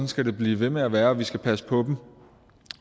skal det blive ved med at være vi skal passe på dem